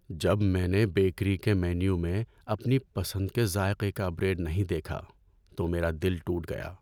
جب میں نے بیکری کے مینیو میں اپنی پسند کے ذائقے کا بریڈ نہیں دیکھا تو میرا دل ٹوٹ گیا۔